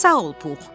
Sağ ol Pux.